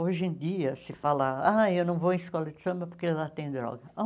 Hoje em dia, se falar, ah, eu não vou em escola de samba porque lá tem droga.